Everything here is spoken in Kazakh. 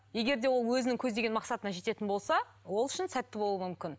егер де ол өзінің көздеген мақсатына жететін болса ол үшін сәтті болуы мүмкін